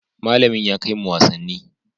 Malamin ya kai mu wasanni.